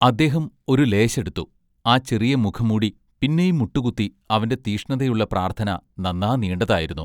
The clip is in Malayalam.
അദ്ദേഹം ഒരു ലേശെടുത്തു ആ ചെറിയ മുഖം മൂടി പിന്നെയും മുട്ടുകുത്തി അവന്റെ തീഷ്ണതയുള്ള പ്രാർത്ഥന നന്നാ നീണ്ടതായിരുന്നു.